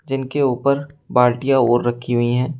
जिनके ऊपर बाल्टियां और रखी हुई है।